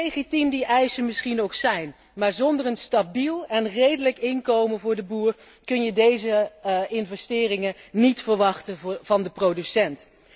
Hoe legitiem die eisen misschien ook zijn, zonder een stabiel en redelijk inkomen voor de boer kun je deze investeringen niet verwachten van de producent.